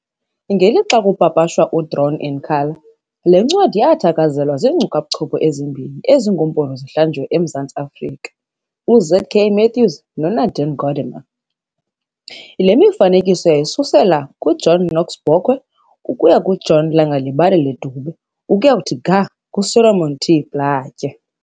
Ngelixa kupapashwa uDrawn in Colour, le ncwadi yathakazelelwa zinkcubabuchopho ezimbini ezingoompondo zihlanjiwe eMzantsi Afrika, uZ.K. Matthews noNadine Gordimer. Le mifanekiso yayisusela kuJohn Knox Bokwe ukuya John Langalibalelele Dube ukuya kuthi ga kuSolomon T. Plaatjie.